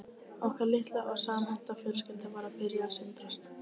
Okkar litla og samhenta fjölskylda var að byrja að sundrast